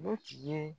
O tigi ye